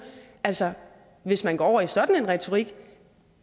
altså hvis man går over i sådan en retorik